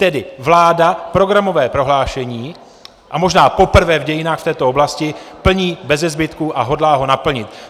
Tedy vláda programové prohlášení, a možná poprvé v dějinách, v této oblasti plní beze zbytku a hodlá ho naplnit.